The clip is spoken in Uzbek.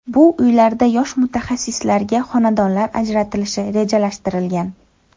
Bu uylarda yosh mutaxassislarga xonadonlar ajratilishi rejalashtirilgan.